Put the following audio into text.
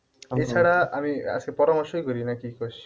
এছাড়া আমি আজকে পরামর্শই করি নাকি কইস?